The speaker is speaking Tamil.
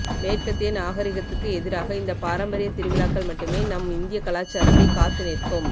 மேற்கத்திய நாகரீகத்துக்கு எதிராக இந்த பாரம்பரிய திருவிழாக்கள் மட்டுமே நம் இந்திய கலாச்சாரத்தை காத்து நிற்கும்